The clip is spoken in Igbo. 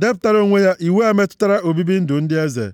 depụtara onwe ya iwu a metụtara obibi ndụ ndị eze.